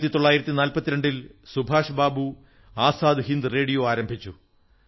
1942 ൽ സുഭാഷ് ബാബു ആസാദ് ഹിന്ദ് റേഡിയോ ആരംഭിച്ചു